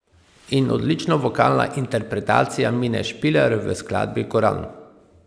In odlična vokalna interpretacija Mine Špiler v skladbi Koran!